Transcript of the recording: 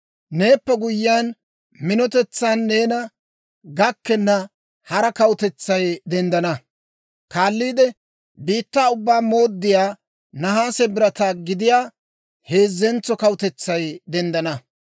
«Neeppe guyyiyaan, minotetsan neena gakkenna hara kawutetsay denddana. Kaalliide, biittaa ubbaa mooddiyaa, nahaase birataa gidiyaa, heezzentso kawutetsay denddana.